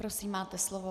Prosím, máte slovo.